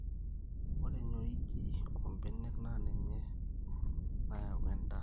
Ore enyorriji oombenek naa ninye nayau endaa